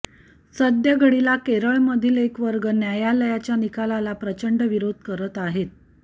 सद्यघडीला केरळमधील एक वर्ग न्यायालयाच्या निकालाला प्रचंड विरोध करत आहेत